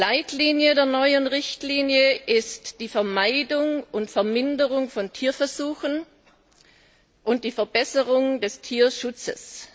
Leitlinie der neuen Richtlinie ist die Vermeidung und Verminderung von Tierversuchen und die Verbesserung des Tierschutzes.